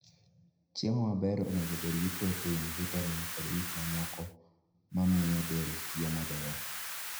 Chiemo maber onego obed gi protein, vitamin, kod gik mamoko mamiyo del tiyo maber.